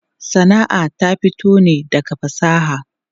Sana'a ta fito ne daga fasaha.